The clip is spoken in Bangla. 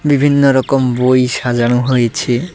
বিভিন্ন রকম বই সাজানো হয়েছে।